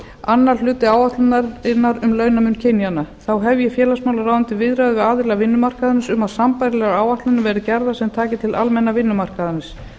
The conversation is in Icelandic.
annar hluti áætlunarinnar um launamun kynjanna þá hefji félagsmálaráðuneytið viðræður við aðila vinnumarkaðarins um að sambærilegar áætlanir verði gerðar sem taki til aðila vinnumarkaðarins